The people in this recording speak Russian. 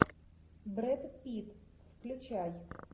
брэд питт включай